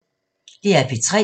DR P3